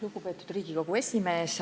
Lugupeetud Riigikogu esimees!